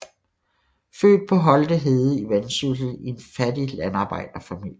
Født på Holte Hede i Vendsyssel i en fattig landarbejderfamilie